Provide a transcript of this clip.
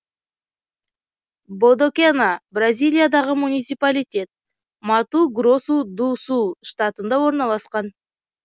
бодокена бразилиядағы муниципалитет мату гросу ду сул штатында орналасқан